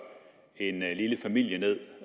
en lille familie ned